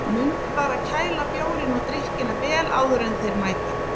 Mundu bara að kæla bjórinn og drykkina vel áður en þeir mæta.